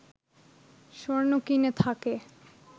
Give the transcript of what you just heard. স্বর্ণ কিনে থাকে